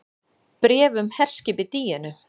BRÉF UM HERSKIPIÐ DÍÖNU